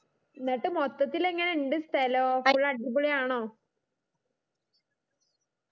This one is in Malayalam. ന്നിട്ട് മൊത്തത്തിൽ എങ്ങനെ ഇണ്ട് സ്ഥലോ full അടിപൊളിയാണോ